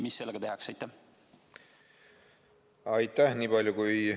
Mis sellega tehakse?